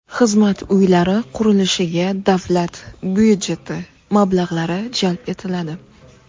Xizmat uylari qurilishiga davlat budjeti mablag‘lari jalb etiladi.